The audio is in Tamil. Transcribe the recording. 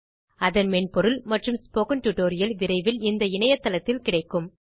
அதன் மென்பொருள் மற்றும் ஸ்போக்கன் டியூட்டோரியல் விரைவில் இந்த இணைய தளத்தில் கிடைக்கும்